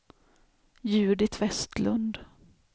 Judit Westlund